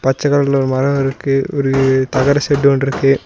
பச்ச கலர்ல ஒரு மரோ இருக்கு ஒரு தகர ஷெட்டு ஒன்னுருக்கு.